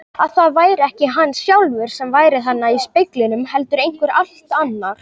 Að það væri ekki hann sjálfur sem væri þarna í speglinum heldur einhver allt annar.